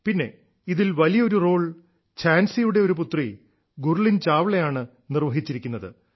പിന്നെ ഇതിൽ വലിയൊരു റോൾ ഝാൻസിയുടെ ഒരു പുത്രി ഗുർലിൻ ചാവളയാണ് നിർവ്വഹിച്ചിരിക്കുന്നത്